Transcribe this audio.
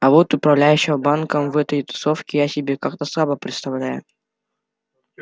а вот управляющего банком в этой тусовке я себе как-то слабо представляю